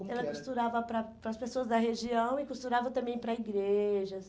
Ela costurava para para as pessoas da região e costurava também para igrejas.